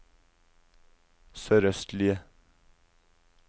sørøstlige